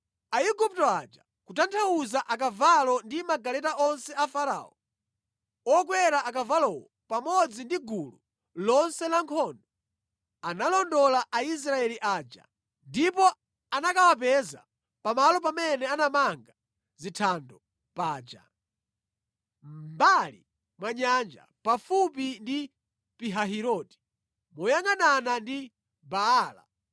Aigupto aja (kutanthauza akavalo ndi magaleta onse a Farao, okwera akavalowo pamodzi ndi gulu lonse la nkhondo) analondola Aisraeli aja ndipo anakawapeza pamalo pamene anamanga zithando paja, mʼmbali mwa nyanja, pafupi ndi Pihahiroti, moyangʼanana ndi Baala-Zefoni.